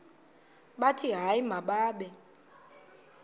bathi hayi mababe